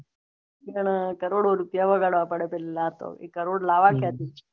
કરોડો રુપયા લગાડવા પડે છે પેહલા તો કરોડ લાવા ક્યાં થી